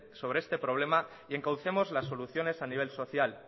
sobre este problema y encaucemos las soluciones a nivel social